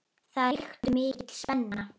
Það ríkti mikil spenna.